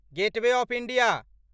gateway of India